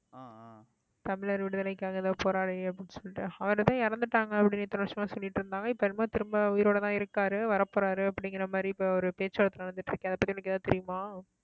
தமிழர் விடுதலைக்காக ஏதோ போராளி அப்படின்னு சொல்லிட்டு அவர்தான் இறந்துட்டாங்க அப்படின்னு இத்தனை வருஷமா சொல்லிடிருந்தாங்க இப்ப என்னமோ திரும்ப உயிரோடதான் இருக்காரு வரப்போறாரு அப்படிங்கிற மாதிரி இப்ப ஒரு பேச்சு வார்த்தை நடந்துட்டு இருக்கு அதை பத்தி எனக்கு எதாவது தெரியுமா